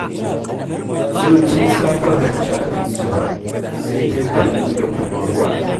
Yau tun safe ban ci abinci ba sai dai kunu da kuma ruwa.